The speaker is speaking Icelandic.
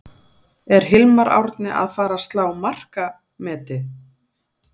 Er Hilmar Árni að fara að slá markametið?